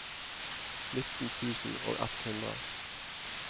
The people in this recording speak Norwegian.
nitten tusen og ett hundre